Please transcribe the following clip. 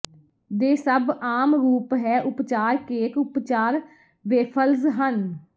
ਦੇ ਸਭ ਆਮ ਰੂਪ ਹੈ ਉਪਚਾਰ ਕੇਕ ਉਪਚਾਰ ਵੇਫਲਜ਼ ਹਨ